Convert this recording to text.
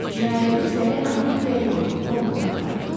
Cinayətin izləri Amerikaya yox, Londona aparır.